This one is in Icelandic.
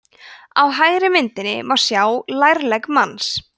á hægri myndinni má sjá lærlegg manns